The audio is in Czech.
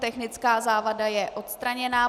Technická závada je odstraněna.